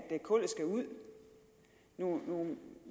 kullet skal ud nu